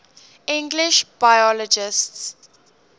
english biologists